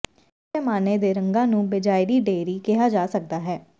ਇਸ ਪੈਮਾਨੇ ਦੇ ਰੰਗਾਂ ਨੂੰ ਬੇਜਾਇਰੀ ਡੇਅਰੀ ਕਿਹਾ ਜਾ ਸਕਦਾ ਹੈ